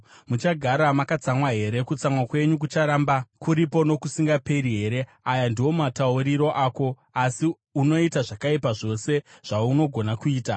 muchagara makatsamwa here? Kutsamwa kwenyu kucharamba kuripo nokusingaperi here?’ Aya ndiwo matauriro ako, asi unoita zvakaipa zvose zvaunogona kuita.”